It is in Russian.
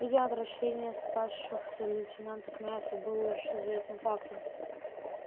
видимо отвращение спасшегося лейтенанта к мясу было уже известным фактом